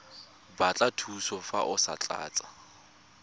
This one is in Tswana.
batla thuso fa o tlatsa